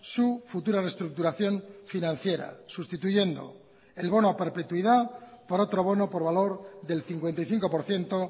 su futura reestructuración financiera sustituyendo el bono a perpetuidad por otro bono por valor del cincuenta y cinco por ciento